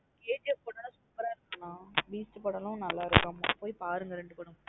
KGF ல படம் super ஆ இருக்கு நா Beast படமும் நல்ல இருக்கமா போய் பாருங்க ரெண்டு படம்.